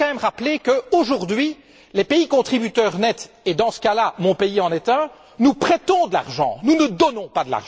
Je voudrais quand même rappeler qu'aujourd'hui, les pays contributeurs nets et dans ce cas là mon pays en est un prêtent de l'argent, qu'ils n'en donnent pas.